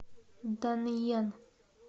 данъян